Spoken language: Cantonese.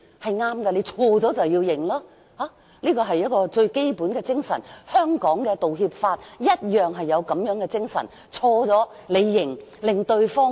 錯了便承認犯錯，這樣做是對的，是為人的最基本精神，而香港的道歉法同樣高舉這種精神。